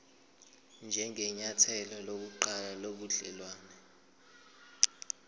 njengenyathelo lokuqala lobudelwane